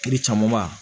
Kiri camanba